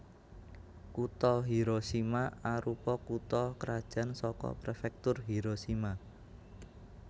Kutha Hiroshima arupa kutha krajan saka Prefektur Hiroshima